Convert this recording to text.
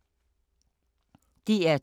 DR2